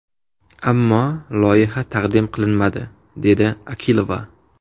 Ammo loyiha taqdim qilinmadi”, – dedi Akilova.